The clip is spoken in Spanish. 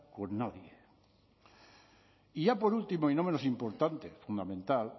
con nadie y ya por último y no menos importante fundamental